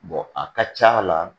a ka ca la